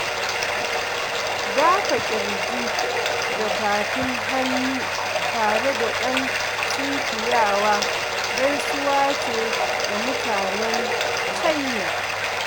Dafa ƙirji da tafin hannu tare da ɗan sunkuyawa gaisuwa ce ga mutanen China